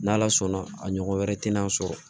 N'ala sɔnna a ɲɔgɔn wɛrɛ tɛna sɔrɔ